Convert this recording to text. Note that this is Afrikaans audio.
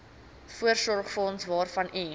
voorsorgsfonds waarvan u